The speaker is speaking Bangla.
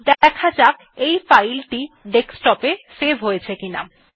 দেখা যাক আমাদের ফাইল টি ডেস্কটপ এ সেভ হয়েছে কিনা